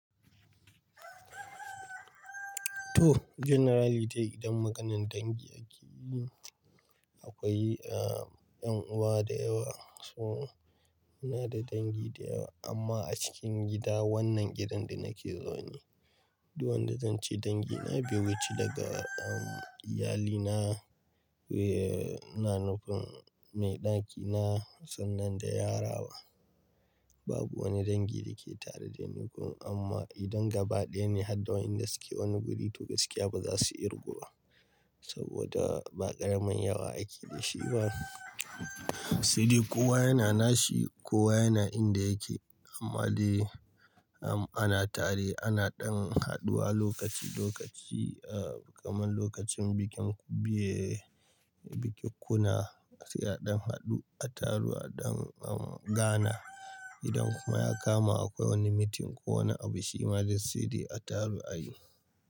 To generally dai idan maganan dangi ake yi akwai eh yan uwa da yawa. So muna da dangi da yawa amma a cikin gida wannan gidan da nake zaune, duk wanda zan ce dangi na bai wuce daga iyalina, be nan cikin mai ɗaki na sannan da yarana. Babu wani dangi da ke tare da ni kuma amma idan gaba ɗaya ne har da wayanda suke wani guri to gaskiya ba za su kirguba saboda ba ƙaramin yawa ake da shi ba. Saidai kowa yana nashi, kowa yana inda yake. Amma dai ana tare ana ɗan haɗuwa lokaci lokaci kamar lokacin bikin kubiye, bikin kuna sai a ɗan haɗu, a taru a ɗan gana. Idan kuma ya kama akwai wani meeting ko wani abu shi ma dai a saidai a taru a yi.